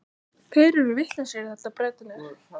Þeir eru vitlausir í þetta, Bretarnir.